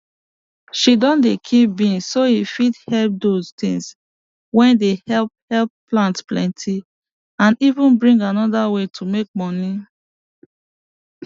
she don dey keep bees so e fit help dose tins wey dey hepl hepl plant plenty and even bring anoda way to make money